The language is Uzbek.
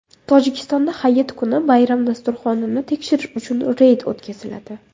Tojikistonda hayit kuni bayram dasturxonini tekshirish uchun reyd o‘tkaziladi.